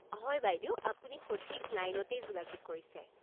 হয় বাইদেউ! আপুনি সঠিক লাইনতেই যোগাযোগ কৰিছে।